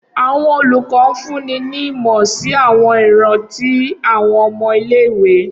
Awọn olukọ funni ni imọ si awọn iran ti awọn ọmọ ile-iwe.